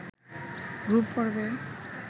group পর্বে